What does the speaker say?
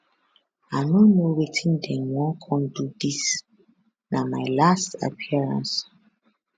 i no know wetin dem wan come do dis na my last appearance